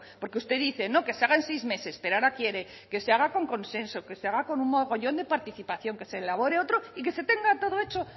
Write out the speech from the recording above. porque usted dice no que se hagan seis meses pero ahora quiere que se haga con consenso que se haga con un mogollón de participación que se elabore otro y que se tenga todo hecho